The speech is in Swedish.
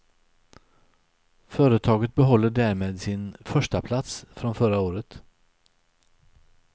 Företaget behåller därmed sin förstaplats från förra året.